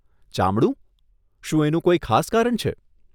ચામડું? શું એનું કોઈ ખાસ કારણ છે?